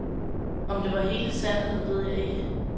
Om det var hele sandheden ved jeg ikke.